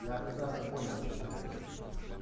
я прекрасно понял о чём ты говоришь